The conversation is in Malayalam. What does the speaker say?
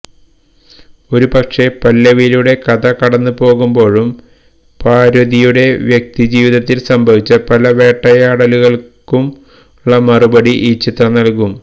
ഓരു പക്ഷേ പല്ലവിയിലൂടെ കഥ കടന്ന് പോകുമ്പോഴും പാര്വതിയുടെ വ്യക്തിജീവിതത്തില് സംഭവിച്ച പലവേട്ടയാടലുകളുകള്ക്കുമള്ള മറുപടി ഈ ചിത്രം നല്കും